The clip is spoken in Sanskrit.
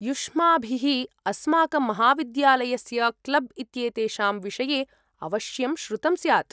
युष्माभिः अस्माकं महाविद्यालयस्य क्लब् इत्येतेषां विषये अवश्यं श्रुतं स्यात्‌।